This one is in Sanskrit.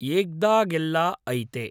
येग्दागेल्ला ऐते